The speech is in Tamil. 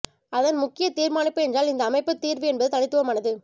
அதன் முக்கிய தீர்மானிப்பு என்றால் இந்த அமைப்பு தீர்வு என்பது தனித்துவமானது